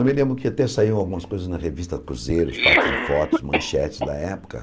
Eu me lembro que até saíram algumas coisas na revista Cruzeiro, os fatos de fotos, manchetes da época.